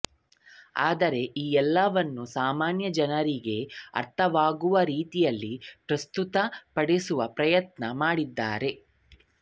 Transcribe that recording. ಆದರೆ ಈ ಎಲ್ಲವನ್ನೂ ಸಾಮಾನ್ಯ ಜನರಿಗೆ ಅರ್ಥವಾಗುವ ರೀತಿಯಲ್ಲಿ ಪ್ರಸ್ತುತ ಪಡಿಸುವ ಪ್ರಯತ್ನ ಮಾಡಿದ್ದಾರೆ